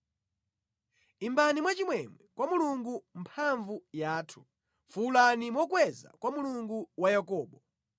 Imbani mwachimwemwe kwa Mulungu mphamvu yathu; Fuwulani mokweza kwa Mulungu wa Yakobo!